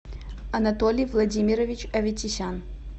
анатолий владимирович аветисян